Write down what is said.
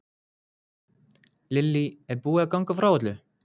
Lillý, er búið að ganga frá öllu?